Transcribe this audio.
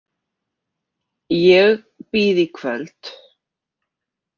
Ég býð í kvöld.